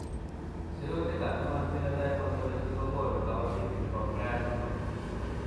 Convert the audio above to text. Sirutikab Human Phenotype Ontology kokonu koborunoikchu chebo Frias syndrome.